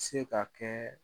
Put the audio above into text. Se ka kɛɛ